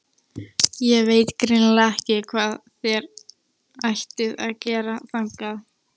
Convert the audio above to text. Ég veit eiginlega ekki hvað þér ættuð að gera þangað.